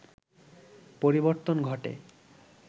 পরিবর্তন ঘটে